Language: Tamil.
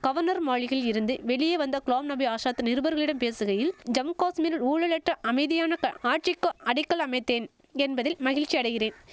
கவர்னர் மாளிகையிலிருந்து வெளியே வந்த குலாம் நபி ஆசாத் நிருபர்களிடம் பேசுகையில் ஜம் காஷ்மீரில் ஊழலற்ற அமைதியான ஆட்சிக்கு அடிக்கல் அமைத்தேன் என்பதில் மகிழ்ச்சியடைகிறேன்